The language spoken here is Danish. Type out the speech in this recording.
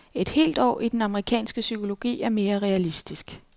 Et helt år i den amerikanske psykologi er mere realistisk.